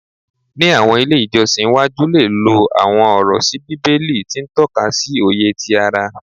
Ni awọn ile ijọsin iwaju le lo awọn ọrọ si bibeli ti n tọka si oye ti ara